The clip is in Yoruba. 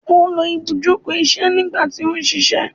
o lo ibujoko iṣẹ nigba ti o ṣiṣẹ